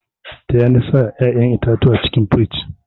Taya ni sa ƴaƴan itatuwan cikin firij.